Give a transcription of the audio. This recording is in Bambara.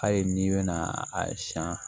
Hali n'i bɛna a siɲɛn